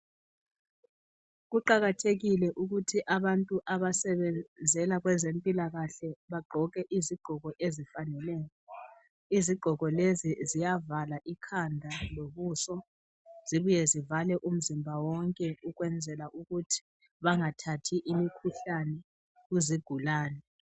Kuqakathekile ukuthi abantu abasebenzela kwezempilakahle bagqoke izigqoko ezifaneleyo. Izigqoko lezi ziyavala ikhanda lobuso zibuye zivale umzimba wonke ukwenzela ukuthi bangathathi imkhuhlane kuzigulane.